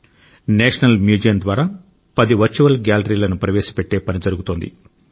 national museum ద్వారా పది virtual గ్యాలరీలను ప్రవేశపెట్టే పని జరుగుతోంది